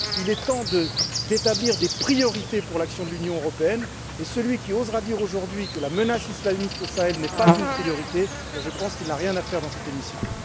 Il est temps d'établir des priorités pour l'action de l'Union européenne, et celui qui osera dire, aujourd'hui, que la menace islamiste au Sahel n'est pas une priorité, je pense qu'il n'a rien à faire dans cet hémicycle.